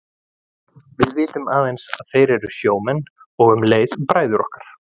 Við vitum aðeins að þeir eru sjómenn og um leið bræður okkar.